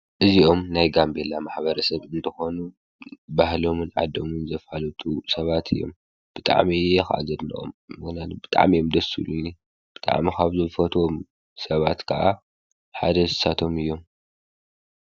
እዚኦም ናይ ጋንቤላ ማኅበረ ሰብ እንተኾኑ ባህሎምን ዓዶሙን ዘፋልጡ ሰባት እዮም ብጣዕሜ እየ ኽዘድናኦም ምግናን ብጣዕም የምደሱ ኢሉኒ ብጥዕም ኻብዝፈትዎም ሰባት ከዓ ሓደሳቶም እዮም።